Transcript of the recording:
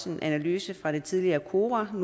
en analyse fra det tidligere kora og